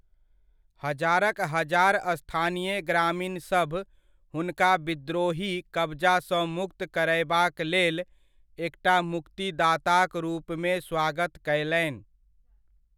हजारक हजार स्थानीय ग्रामीणसभ हुनका विद्रोही कबजासँ मुक्त करयबाक लेल एकटा मुक्तिदाताक रूपमे स्वागत कयलनि।